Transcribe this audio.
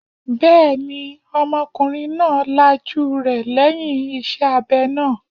Bẹ́ẹ̀ni, ọmọkùnrin náà lajú rẹ̀ lẹ́yìn iṣẹ́ abẹ náà